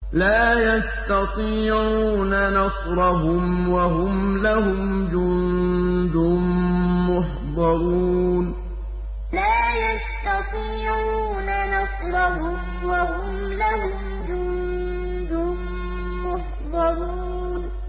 لَا يَسْتَطِيعُونَ نَصْرَهُمْ وَهُمْ لَهُمْ جُندٌ مُّحْضَرُونَ لَا يَسْتَطِيعُونَ نَصْرَهُمْ وَهُمْ لَهُمْ جُندٌ مُّحْضَرُونَ